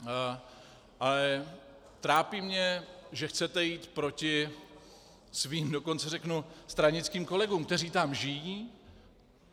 Ale trápí mě, že chcete jít proti svým, dokonce řeknu stranickým kolegům, kteří tam žijí.